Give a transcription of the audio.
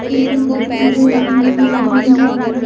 उजली कलर की बैलूने नजर आ रही हैं।